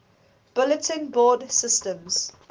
bulletin board systems